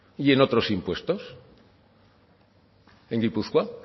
y en otros impuestos en gipuzkoa